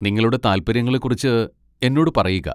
നിങ്ങളുടെ താൽപ്പര്യങ്ങളെക്കുറിച്ച് എന്നോട് പറയുക.